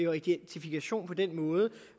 og identifikation på den måde